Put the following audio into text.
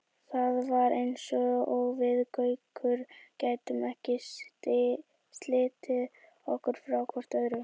Það var eins og við Gaukur gætum ekki slitið okkur frá hvort öðru.